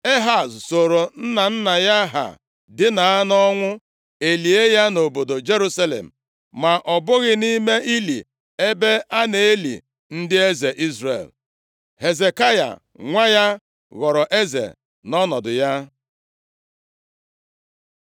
Ehaz soro nna nna ya ha dina nʼọnwụ, e lie ya nʼobodo Jerusalem, ma ọ bụghị nʼime ili ebe a na-eli ndị eze Izrel. Hezekaya nwa ya, ghọrọ eze nʼọnọdụ ya.